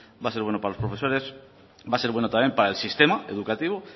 va a ser bueno para los profesores va a ser bueno también para el sistema educativo